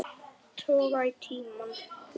Toga í tímann.